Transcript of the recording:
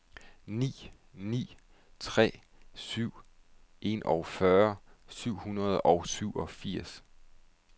ni ni tre syv enogfyrre syv hundrede og syvogfirs